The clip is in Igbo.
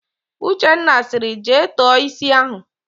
Uchenna sịrị, "jee tọọ ísí ahụ"!